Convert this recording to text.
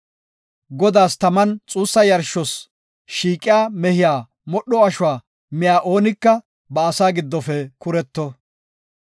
Godaas taman xuussa yarshos shiiqiya mehiya modho ashuwa miya oonika ba asaa giddofe kuretto.